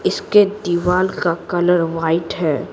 इसके दीवार का कलर वाइट है।